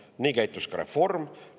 Samamoodi käitus ka reform.